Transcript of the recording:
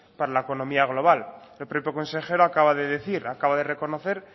para la económica global el propio consejero acaba de decir acaba de reconocer